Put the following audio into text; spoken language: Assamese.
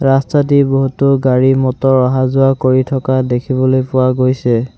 ৰাস্তাদি বহুতো গাড়ী মটৰ অহা যোৱা কৰি থকা দেখিবলৈ পোৱা গৈছে।